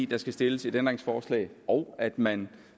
der skal stilles et ændringsforslag og at man